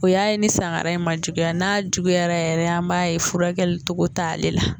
O y'a ye ni sangara in ma juguya n'a juguya yɛrɛ an b'a ye furakɛli cogo t'ale la.